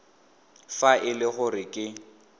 fa e le gore ke